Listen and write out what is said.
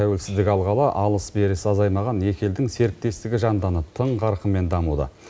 тәуелсіздік алғалы алыс берісі азаймаған екі елдің серіктестігі жандана тың қарқынмен дамуда